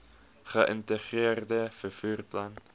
geïntegreerde vervoer plan